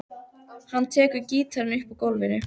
Hann tekur gítarinn upp úr gólfinu.